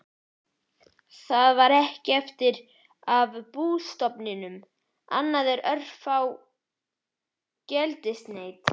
Það var ekkert eftir af bústofninum annað en örfá geldneyti.